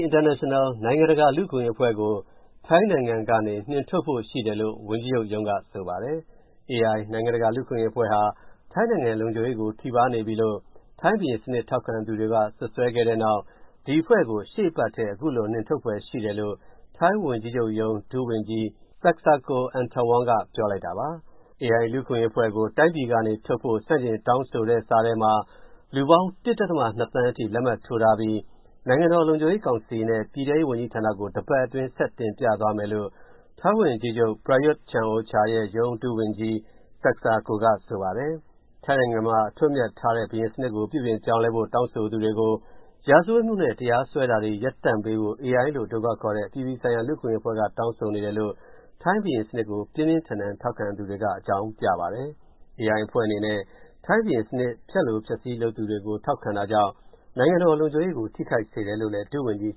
International နိုင်ငံတကာ လူ့အခွင့်အရေးအဖွဲ့ကို ထိုင်းနိုင်ငံကနေ နှင်ထုတ်ဖို့ရှိတယ်လို့ ဝန်ကြီးချုပ်ရုံးက ဆိုပါတယ်။ AI နိုင်ငံတကာ လူ့အခွင့်အရေးအဖွဲ့ဟာ ထိုင်းနိုင်ငံလုံခြုံရေးကို ထိပါးနေပြီလို့ ထိုင်းဘုရင်စနစ် ထောက်ခံသူတွေက စွပ်စွဲခဲ့တဲ့နောက် ဒီအဖွဲ့ကို ရှေ့အပတ်ထဲ အခုလို နှင်ထုတ်ဖွယ်ရှိတယ်လို့ ထိုင်းဝန်ကြီးချုပ်ရုံး ဒုဝန်ကြီး Seksako Atthawong က ပြောလိုက်တာပါ။ AI လူ့အခွင့်အရေးအဖွဲ့ကို တိုင်းပြည်ကနှင်ထုတ်ဖို့ ဆန့်ကျင်တောင်းဆိုစာထဲမှာ လူပေါင်း ၁ ဒသမ ၂ သန်းအထိ လက်မှတ်ထိုးထားပြီး နိုင်ငံတော်လုံခြုံရေးကောင်စီနဲ့ ပြည်ထဲရေးဝန်ကြီးဌာနကို တပတ်အတွင်း ဆက်တင်ပြသွားမယ်လို့ ထိုင်းဝန်ကြီးချုပ် Prayuth Chan-ocha ရဲ့ရုံး ဒုဝန်ကြီး Seksako က ဆိုပါတယ်။ ထိုင်းနိုင်ငံမှာ အထွတ်အမြတ်ထားတဲ့ ဘုရင်စနစ်ကို ပြုပြင်ပြောင်းလဲဖို့ တောင်းဆိုသူတွေကို ရာဇဝတ်မှုနဲ့ တရားစွဲတာတွေ ရပ်တန့်ပေးဖို့ AI လို့ အတိုကောက်ခေါ်တဲ့ အပြည်ပြည်ဆိုင်ရာ လူ့အခွင့်အရေးအဖွဲ့က တောင်းဆိုနေတယ်လို့ ထိုင်းဘုရင်စနစ်ကို ပြင်းပြင်းထန်ထန် ထောက်ခံသူတွေက အကြောင်းပြပါတယ်။ AI အဖွဲ့အနေနဲ့ ထိုင်းဘုရင်စနစ် ဖျက်လိုဖျက်ဆီး လုပ်သူတွေဘက်ကို ထောက်ခံတာကြောင့် နိုင်ငံတော်လုံခြုံရေးကို ထိခိုက်စေတယ်လို့ ဒုဝန်ကြီး